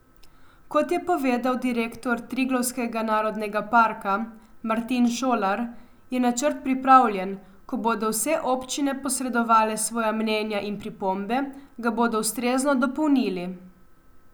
Kot je povedal direktor Triglavskega narodnega parka Martin Šolar, je načrt pripravljen, ko bodo vse občine posredovale svoja mnenja in pripombe, ga bodo ustrezno dopolnili.